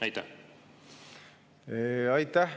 Aitäh!